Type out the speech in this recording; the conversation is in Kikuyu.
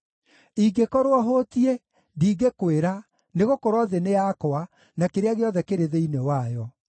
Ingĩkorwo hũtiĩ, ndingĩkwĩra, nĩgũkorwo thĩ nĩ yakwa, na kĩrĩa gĩothe kĩrĩ thĩinĩ wayo.